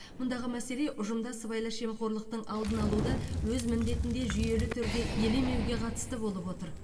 мұндағы мәселе ұжымда сыбайлас жемқорлықтың алдын алуды өз міндетінде жүйелі түрде елемеуге қатысты болып отыр